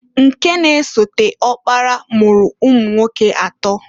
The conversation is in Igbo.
Nke na-esote ọkpara mụrụ ụmụnwoke atọọ.